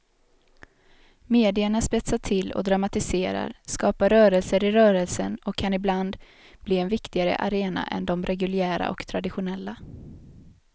Medierna spetsar till och dramatiserar, skapar rörelser i rörelsen och kan ibland bli en viktigare arena än de reguljära och traditionella.